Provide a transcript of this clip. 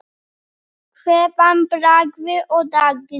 Kveðja, Bragi og Dagný.